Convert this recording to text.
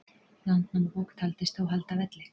landnámabók taldist þó halda velli